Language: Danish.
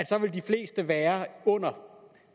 så vil de fleste være under